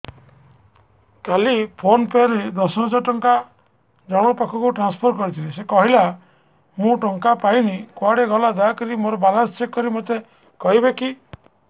କାଲି PhonePe ରେ ଦଶ ହଜାର ଟଙ୍କା ଜଣକ ପାଖକୁ ଟ୍ରାନ୍ସଫର୍ କରିଥିଲି ସେ କହିଲା ମୁଁ ଟଙ୍କା ପାଇନି କୁଆଡେ ଗଲା ଦୟାକରି ମୋର ବାଲାନ୍ସ ଚେକ୍ କରି ମୋତେ କହିବେ କି